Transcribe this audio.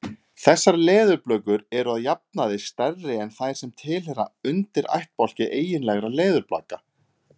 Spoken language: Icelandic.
Þessar leðurblökur eru að jafnaði stærri en þær sem tilheyra undirættbálki eiginlegra leðurblaka.